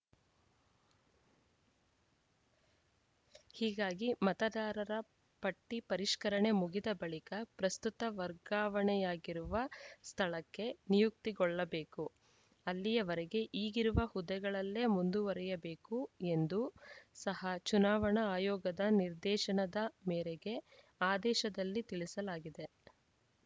ಹೀಗಾಗಿ ಮತದಾರರ ಪಟ್ಟಿಪರಿಷ್ಕರಣೆ ಮುಗಿದ ಬಳಿಕ ಪ್ರಸ್ತುತ ವರ್ಗಾವಣೆಯಾಗಿರುವ ಸ್ಥಳಕ್ಕೆ ನಿಯುಕ್ತಿಗೊಳ್ಳಬೇಕು ಅಲ್ಲಿಯವರೆಗೆ ಈಗಿರುವ ಹುದ್ದೆಗಳಲ್ಲೇ ಮುಂದುವರೆಯಬೇಕು ಎಂದೂ ಸಹ ಚುನಾವಣಾ ಆಯೋಗದ ನಿರ್ದೇಶನದ ಮೇರೆಗೆ ಆದೇಶದಲ್ಲಿ ತಿಳಿಸಲಾಗಿದೆ